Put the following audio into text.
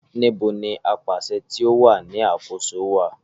Níbo ni apàṣẹ tí o wà ní àkóso wà